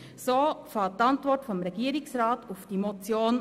So beginnt die Antwort des Regierungsrats auf diese Motion.